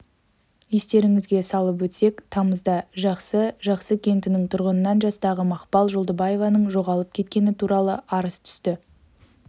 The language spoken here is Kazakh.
естеріңізге салып өтсек тамызда жақсы жақсы кентінің тұрғынынан жастағы мақпал жолдыбаеваның жоғалып кеткені туралы арыз түсті